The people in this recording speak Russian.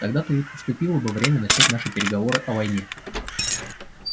тогда-то и наступило бы время начать наши переговоры о войне